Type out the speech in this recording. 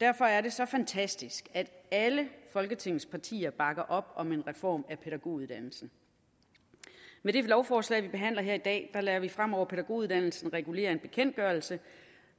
derfor er det så fantastisk at alle folketingets partier bakker op om en reform af pædagoguddannelsen med det lovforslag vi behandler her i dag lader vi fremover pædagoguddannelsen regulere af en bekendtgørelse